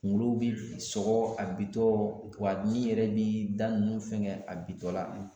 Kunkolo bi sɔgɔ a bi tɔ , wa ɲin yɛrɛ bi da nunnu fɛn kɛ, a bi tɔ la